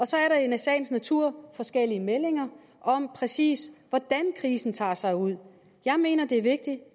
så er der i sagens natur forskellige meldinger om præcis hvordan krisen tager sig ud jeg mener det er vigtigt